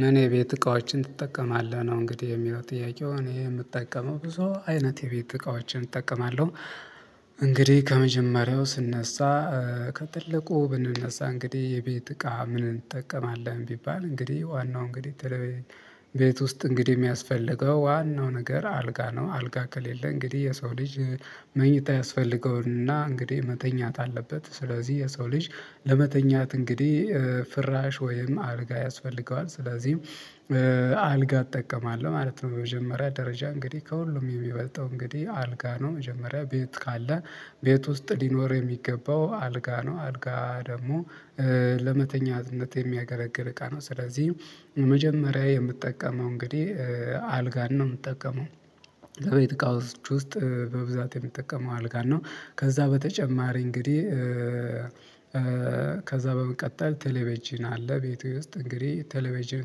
ምን የቤት እቃዎችን ትጠቀማለህ ነው እንግዲህ የሚለው ጥያቄው እኔ የምጠቀመው ብዙ አይነት የቤት እቃዎችን እጠቀማለሁ። እንግዲህ ከመጀመሪያው ስነሳ። ከትልቁ ብንነሳ እንግዲህ የቤት እቃ ምን እንጠቀማለን ቢባል እንግዲህ ዋናው እንግዲህ ቤት ውስጥ እንግዲህ የሚያስፈልገው ዋናው ነገር አልጋ ነው አልጋ ከሌለ እንግዲህ የሰው ልጅ መኝታ ያስፈልገውና እንግዲህ መተኛት አለበት ስለዚህ የሰው ልጅ ለመተኛት እንግዲህ ፍራሽ ወይም አልጋ ያስፈልገዋል ስለዚህ አልጋ እጠቀማለሁ ማለት ነው። በመጀመሪያ ደረጃ እንግዲህ ከሁሉም የሚበልጠው እንግዲህ አልጋ ነው። መጀመሪያ ቤት ካለ ቤት ውስጥ ሊኖር የሚገባው አልጋ ነው። አልጋ ደግሞ ለመተኛነት የሚያገለግል እቃ ነው። ስለዚህ መጀመሪያ የምጠቀመው እንግዲህ አልጋን ነው የምጠቀመው የቤት እቃዎች ውስጥ በብዛት የሚጠቀመው አልጋን ነው። ከዚያ በተጨማሪ እንግዲህ ከዚያ በመቀጠል ቴሌቬጅን አለ ቤቱ ውስጥ እንግዲህ ቴሌቬጅን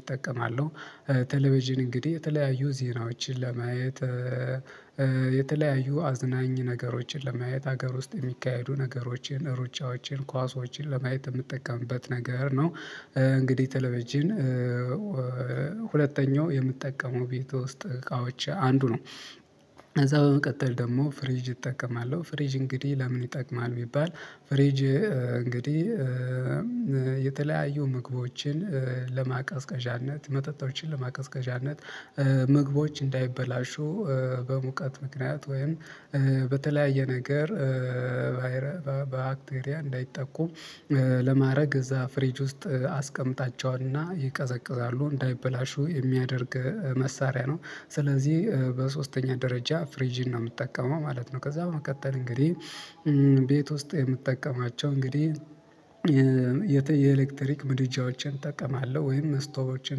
እጠቀማለሁ። ቴሌቬጅን እንግዲህ የተለያዩ ዜናዎችን ለማየት የተለያዩ አዝናኝ ነገሮችን ለማየት ሀገር ውስጥ የሚካሄዱ ነገሮችን ሩጫዎችን ኳሶችን ለማየት የምጠቀምበት ነገር ነው። እንግዲህ ቴሌቪዥን ሁለተኛው የምጠቀመው ቤት ውስጥ እቃዎች አንዱ ነው። ከዚያ በመቀጠል ደግሞ ፍሪጅ እጠቀማለሁ ፍሪጅ እንግዲህ ለምን ይጠቅማል? ቢባል ፍሪጅ እንግዲህ የተለያዩ ምግቦችን ለማቀዝቀዣነት መጠጦችን ለማቀዝቀዣነት ምግቦች እንዳይበላሹ በሙቀት ምክንያት ወይም በተለያየ ነገር ባይረባ ባክቴሪያ እንዳይጠቁ ለማድረግ እዚያ ፍሪጅ ውስጥ አስቀምጣቸውና ይቀዘቅዛሉ እንዳይበላሹ የሚያደርግ መሳሪያ ነው። ስለዚህ በሶስተኛ ደረጃ ፍሪጅን ነው የምጠቀመው ማለት ነው። ከዚያ በመቀጠል እንግዲህ ቤት ውስጥ የምጠቀማቸው እንግዲህ የኤሌክትሪክ ምድጃዎችን እጠቀማለሁ ወይም እስቶቦችን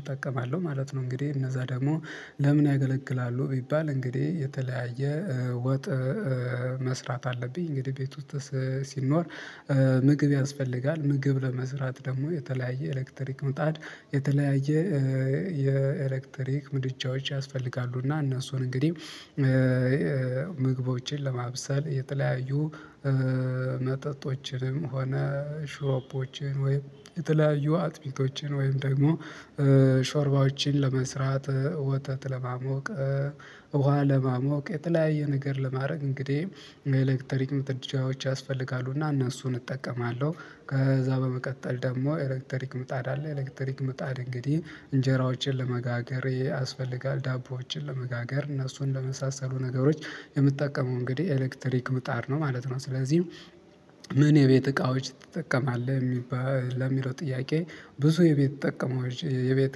እጠቀማለሁ ማለት ነው። እንግዲህ እነዚያ ደግሞ ለምን ያገለግላሉ ቢባል እንግዲህ የተለያየ ወጥ መስራት አለብኝ እንግዲህ ቤት ውስጥ ሲኖር ምግብ ያስፈልጋል ምግብ ለመስራት ደግሞ የተለያየ ኤሌክትሪክ ምጣድ የተለያየ የኤሌክትሪክ ምድጃዎች ያስፈልጋሉ። እና እነሱን እንግዲህ ምግቦችን ለማብሰል የተለያዩ መጠጦችንም ሆነ ሾርባዎችን ወይ የተለያዩ አጥሚቶችን ወይም ደግሞ ሾርባዎችን ለመስራት ወተት ለማሞቅ ውሃ ለማሞቅ የተለያየ ነገር ለማድረግ እንግዲህ የኤሌክትሪክ ምድጃዎች ያስፈልጋሉና እነሱን እጠቀማለሁ። ከዚያ በመቀጠል ደግሞ ኤሌክትሪክ ምጣድ አለ ኤሌክትሪክ ምጣድ እንግዲህ እንጀራዎችን ለመጋገር ያስፈልጋል ዳቦዎችን ለመጋገር እነሱን ለመሳሰሉ ነገሮች የምጠቀመው እንግዲህ ኤሌክትሪክ ምጣድ ነው ማለት ነው። ስለዚህ ምን የቤት እቃዎች ትጠቀማለህ የሚባል ለሚለው ጥያቄ? ብዙ የቤት ጠቀመው የቤት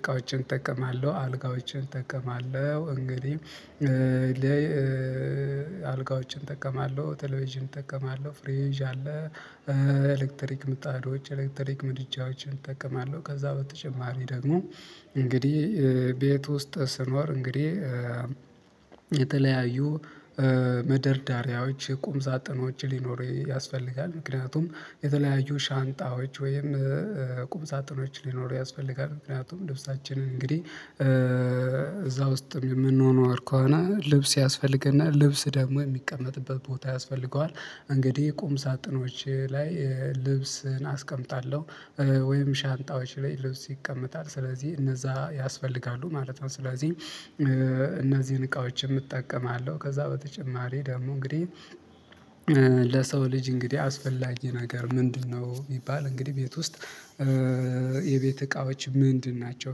እቃዎችን እጠቀማለሁ አልጋዎችን እጠቀማለሁ እንግዲህ አልጋዎችን እጠቀማለሁ ቴሌቪዥን እጠቀማለሁ ፍሬጅ አለ። ኤሌክትሪክ ምጣዶች ኤሌክትሪክ ምድጃዎችን እጠቀማለሁ ከዚያ በተጨማሪ ደግሞ እንግዲህ ቤት ውስጥ ስኖር እንግዲህ የተለያዩ መደርዳሪያዎች ቁም ሳጥኖች ሊኖሩ ያስፈልጋል ምክንያቱም የተለያዩ ሻንጣዎች ወይም ቁም ሳጥኖች ሊኖሩ ያስፈልጋል ምክንያቱም ልብሳችንን እንግዲህ እዚያ ውስጥም የምንኖር ከሆነ ልብስ ያስፈልገናል ልብስ ደግሞ የሚቀመጥበት ቦታ ያስፈልገዋል። እንግዲህ ቁም ሳጥኖች ላይ ልብስን አስቀምጣለሁ ወይም ሻንጣዎች ላይ ልብስ ይቀመጣል ስለዚህ እነዚያ ያስፈልጋሉ ማለት ነው። ስለዚህ እነዚህን እቃዎች እጠቀማለሁ ከዚያ በተጨማሪ ደግሞ እንግዲህ ለሰው ልጅ እንግዲህ አስፈላጊ ነገር ምንድነው ቢባል እንግዲህ ቤት ውስጥ የቤት እቃዎች ምንድን ናቸው?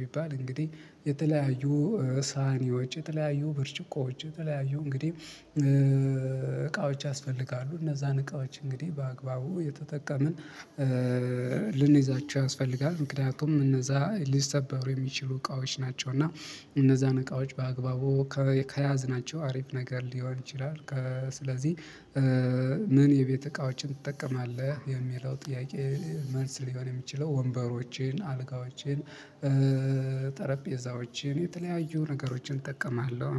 ቢባል እንግዲህ የተለያዩ ሳህንዎች የተለያዩ ብርጭቆዎች የተለያዩ እንግዲህ እቃዎች ያስፈልጋሉ እነዚያን እቃዎች እንግዲህ በአግባቡ እየተጠቀምን ልንይዛቸው ያስፈልጋል ምክንያቱም እነዚያ ሊሰበሩ የሚችሉ እቃዎች ናቸው። እና እነዝያን እቃዎች በአግባቡ ከያዝናቸው አሪፍ ነገር ሊሆን ይችላል። ስለዚህ ምን የቤት እቃዎችን ትጠቀማለህ የሚለው ጥያቄ መልስ ሊሆን የሚችለው ወንበሮቼን አልጋዎችን ጠረጴዛዎችን የተለያዩ ነገሮችን እጠቀማለሁ።